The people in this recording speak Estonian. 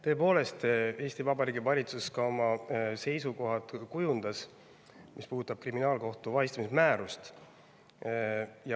Tõepoolest, Eesti Vabariigi valitsus kujundas oma seisukohad, mis puudutavad kriminaalkohtu vahistamismäärust.